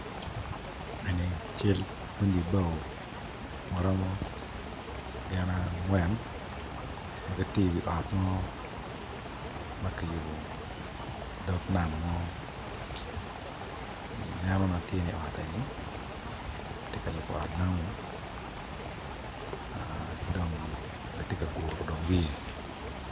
Eni cal pundi bao ma romo gin angwen ma gitye i wi ot ma kiyubo i dog nam mo ineno i eni ot namu ma kitye ka guro dong wiye.